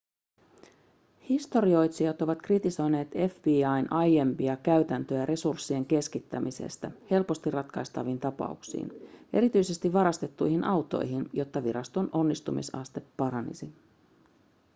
historioitsijat ovat kritisoineet fbi:n aiempia käytäntöjä resurssien keskittämisestä helposti ratkaistaviin tapauksiin erityisesti varastettuihin autoihin jotta viraston onnistumisaste paranisi